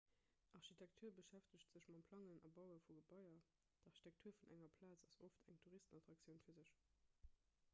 architektur beschäftegt sech mam plangen a baue vu gebaier d'architektur vun enger plaz ass oft eng touristenattraktioun fir sech